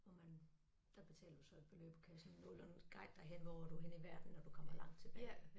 Hvor man der betaler du så et beløb på kassen 0 og en guide der halve år hvor er du henne i verden når du kommer langt tilbage